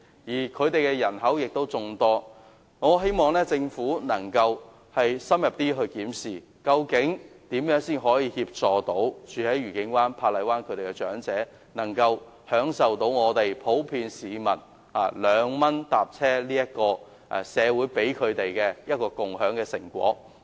此外，當區人口眾多，因此我希望政府能夠深入檢視如何可以協助愉景灣和珀麗灣的長者，讓他們一如普遍長者般享受社會給予他們的共享成果——兩元乘車優惠。